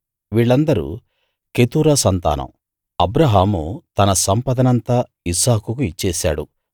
వీళ్ళందరూ కెతురా సంతానం అబ్రాహాము తన సంపదనంతా ఇస్సాకుకు ఇచ్చేశాడు